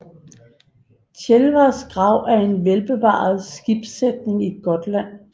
Tjelvars grav er en velbevaret skibssætning i Gotland